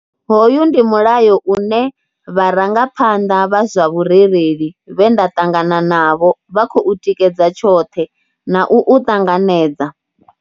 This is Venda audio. Hoyu ndi mulayo une vharangaphanḓa vha zwa vhurereli vhe nda ṱangana navho vha khou u tikedza tshoṱhe na u u ṱanganedza.